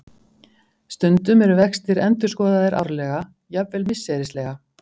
Stundum eru vextir endurskoðaðir árlega, jafnvel misserislega.